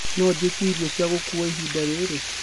no njĩĩtĩe ĩrĩo cĩa gũkũwa ĩhĩnda rĩrĩ